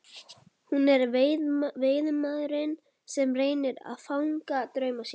Hún er veiðimaðurinn sem reynir að fanga drauma sína.